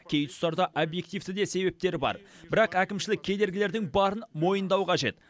кей тұстарда объективті де себептері бар бірақ әкімшілік кедергілердің барын мойындау қажет